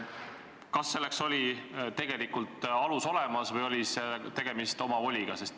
Kas selleks oli alus olemas või oli tegemist omavoliga?